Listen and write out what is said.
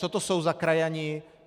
Co to je za krajany?